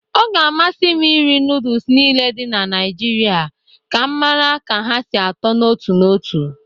Ọ ga-amasị iri nọọdụs niile dị na Naịjirị ka m mara ka ha sị atọ n'otu n'otu.